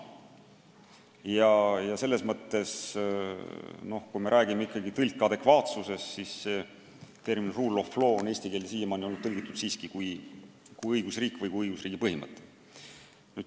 Kui me räägime tõlke adekvaatsusest, siis termin rule of law on eesti keelde siiamaani olnud tõlgitud kui õigusriik või õigusriigi põhimõte.